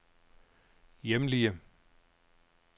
hjemlige